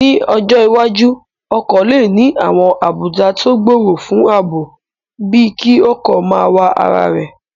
Ní ọjọ́ iwájú, ọkọ̀ lè ní àwọn àbùdá tó gbòòrò fún ààbò bíi kí ọkọ̀ máa wa ara rẹ̀